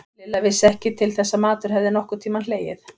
Lilla vissi ekki til þess að matur hefði nokkurn tímann hlegið.